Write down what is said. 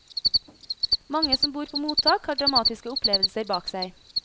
Mange som bor på mottak, har dramatiske opplevelser bak seg.